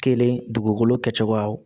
Kelen dugukolo kɛcogoyaw